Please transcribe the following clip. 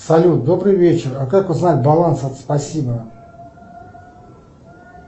салют добрый вечер а как узнать баланс от спасибо